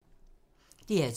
DR2